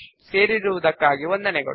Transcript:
మాతో చేరినందుకు కృతజ్ఞతలు